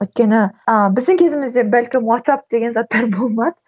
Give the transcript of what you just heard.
өйткені а біздің кезімізде бәлкім уатсап деген заттар болмады